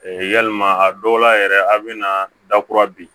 E yalima a dɔw la yɛrɛ a bɛna da kura bin